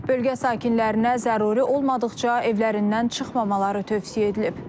Bölgə sakinlərinə zəruri olmadıqca evlərindən çıxmamaqları tövsiyə edilib.